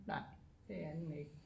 Nej det er den ikke